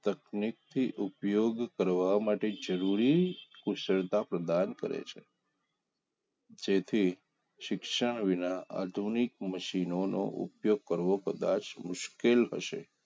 ઉપયોગ કરવા માટે જરૂરી કુશળતા પ્રદાન કરે છે જેથી શિક્ષા વિના આધુનિક મશીનોઉપયોગ કરવો કદાચ મુશ્કેલ હશે